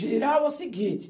Giral é o seguinte.